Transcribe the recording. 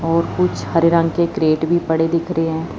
और कुछ हरे रंग के क्रिएट भी पड़े दिख रहे हैं।